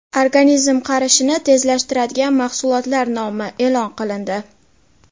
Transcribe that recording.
Organizm qarishini tezlashtiradigan mahsulotlar nomi e’lon qilindi.